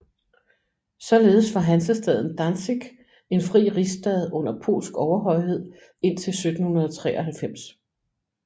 Således var hansestaden Danzig en fri rigsstad under polsk overhøjhed indtil 1793